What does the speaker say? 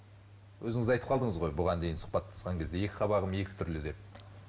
өзіңіз айтып қалдыңыз ғой бұған дейін сұхбаттасқан кезде екі қабағым екі түрлі деп